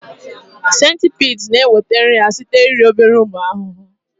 Centipedes na-enweta nri ha site na iri obere ụmụ ahụhụ